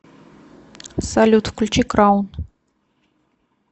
салют включи краун